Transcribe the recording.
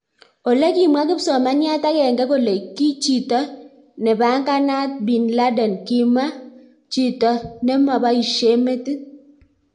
Ole kimwa kipsomaniat agenge kole ki chito tepanganat bin laden kima chito neemaboishe metit